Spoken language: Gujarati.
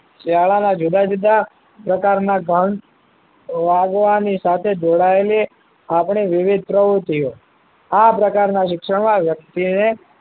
શાળાના જુદા જુદા પ્રકારના ગંટ વાગવાની સાથે જોડાયેલી આપણી વિવિધ પ્રવૃત્તિ ઓ આ પ્રકારના શિક્ષણ વ્યક્તિએ